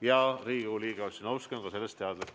Ja Riigikogu liige Ossinovski on sellest teadlik.